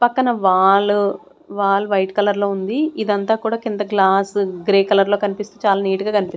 పక్కన wall wall white colour లో ఉంది ఇందంతా కూడా కింద గ్లాసు గ్రే కలర్ లో కనిపిస్తు చాలా నీట్ గా కనిప్ --